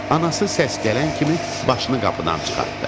Anası səs gələn kimi başını qapıdan çıxartdı.